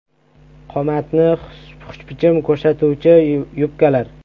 Qomatni xushbichim ko‘rsatuvchi yubkalar.